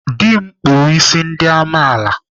Dị m kpụrụ isi ndị amaala.